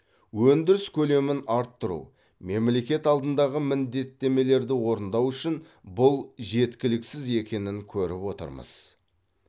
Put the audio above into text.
өндіріс көлемін арттыру мемлекет алдындағы міндеттемелерді орындау үшін бұл жеткіліксіз екенін көріп отырмыз